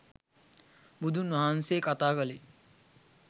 බුදුන් වහන්සේ කතා කලේ